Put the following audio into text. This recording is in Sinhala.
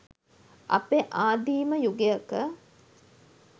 අපේ ආදීම යුගයක